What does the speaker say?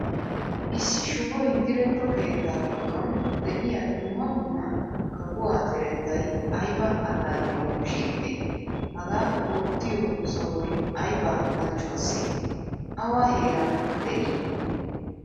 Issi shuboy diretto keettaa giddon de'iyaa dumma dumma kafuwaa zerettay ayba allaliyawu shiiqidee? Haga oottiyo sohoy ayba halchchuwase? Awa heeran de'ii?